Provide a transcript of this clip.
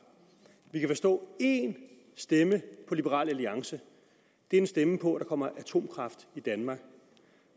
vi kan forstå at en stemme på liberal alliance er en stemme på at der kommer atomkraft i danmark